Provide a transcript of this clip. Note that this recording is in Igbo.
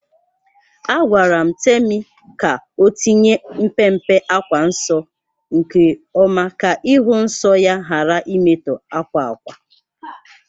Agwara m Temi ka o tinye mpe mpe akwa nsọ nke oma ka ịhụ nsọ ya ghara imetọ akwa ákwà